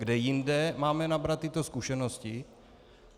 Kde jinde máme nabrat tyto zkušenosti?